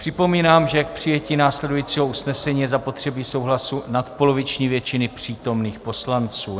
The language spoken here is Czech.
Připomínám, že k přijetí následujícího usnesení je zapotřebí souhlasu nadpoloviční většiny přítomných poslanců.